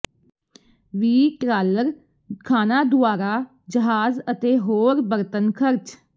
ਵੀ trawler ਖਾਣਾ ਦੁਆਰਾ ਜਹਾਜ਼ ਅਤੇ ਹੋਰ ਬਰਤਨ ਖਰਚ